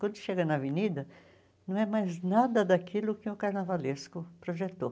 Quando chega na avenida, não é mais nada daquilo que o carnavalesco projetou.